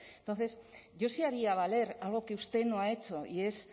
entonces yo sí haría valer algo que usted no ha hecho y es